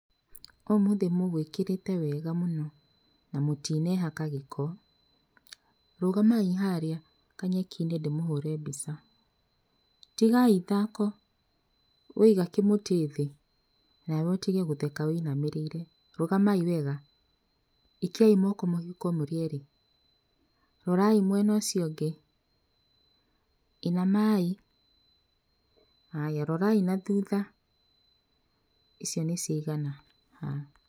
Ũmũthĩ mũgũĩkĩrĩte wega mũno, na mũtinehaka gĩko. Rũgamai harĩa, kanyeki-inĩ ndĩmũhũre mbica. Tigai ithako. We iga kĩmũtĩ thĩ, na we ũtige gũtheka ũinamĩrĩire. Rũgamai wega. Ikiai moko mĩhuko mũrĩerĩ. Rorai mwena ũcio ũngĩ. Inamai. Haya, rorai na thutha. Icio nĩ ciagana. Haya.